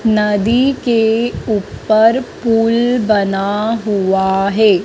नदी के ऊपर पुल बना हुआ है।